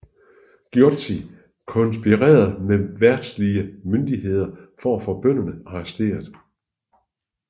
Gyochi konspirerede med verdslige myndigheder for at få bønderne arresteret